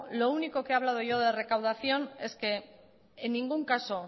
lo único que he hablado yo de recaudación es que en ningún caso